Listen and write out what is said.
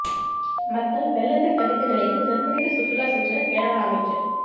மக்கள் வெள்ளத்தில் தவித்த நிலையில் ஜெர்மனிக்கு சுற்றுலா சென்ற கேரள அமைச்சர்